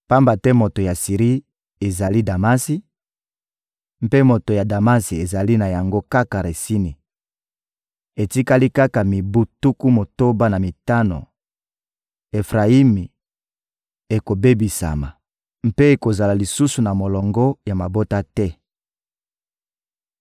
Pamba te moto ya Siri ezali Damasi, mpe moto ya Damasi ezali na yango kaka Retsini. Etikali kaka mibu tuku motoba na mitano, Efrayimi ekobebisama mpe ekozala lisusu na molongo ya mabota te.